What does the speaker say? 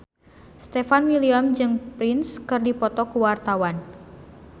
Stefan William jeung Prince keur dipoto ku wartawan